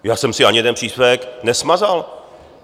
Já jsem si ani jeden příspěvek nesmazal.